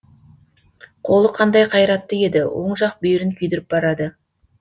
қолы қандай қайратты еді оң жақ бүйірін күйдіріп барады